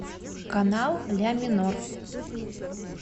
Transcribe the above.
канал ля минор